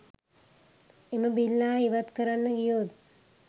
එම බිල්ලා ඉවත් කරන්න ගියොත්